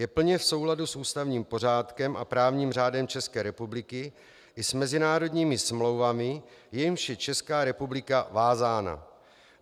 Je plně v souladu s ústavním pořádkem a právním řádem České republiky i s mezinárodními smlouvami, jimiž je Česká republika vázána.